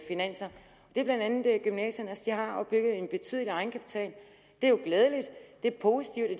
finanser det er blandt andet gymnasierne de har opbygget en betydelig egenkapital og det er jo glædeligt det er positivt at